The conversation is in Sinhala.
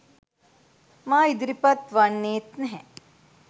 මා ඉදිරිපත් වන්නේත් නැහැ.